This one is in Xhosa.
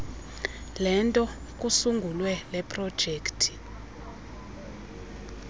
lento kusungulwe leprojekthi